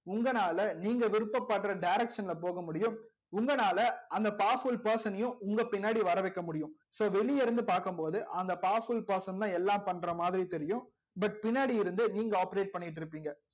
உங்களான நீங்க விருப்பபடுற direction ல போக முடியும் உங்களால அந்த powerful person னையும் உங்க பின்னாடி வர வைக்க முடியும் so வெளிய இருந்து பாக்கும் போது அந்த powerful person எல்லாம் பண்றா மாதிரி தெரியும் but பின்னாடி இருந்து நீங்க operate பண்ணிட்டு இருபிங்க